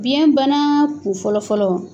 Biyɛn bana kun fɔlɔfɔlɔ